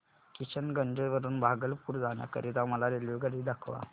किशनगंज वरून भागलपुर जाण्या करीता मला रेल्वेगाडी दाखवा